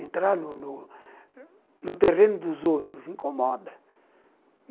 Entrar no no no terreno dos outros incomoda.